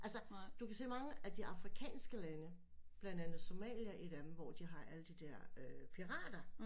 Altså du kan se mange af de afrikanske lande blandt andet somaliere et af dem hvor de har alle de der øh pirater